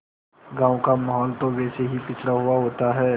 गाँव का माहौल तो वैसे भी पिछड़ा हुआ होता है